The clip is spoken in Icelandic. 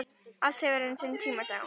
Allt hefur sinn tíma, sagði hún.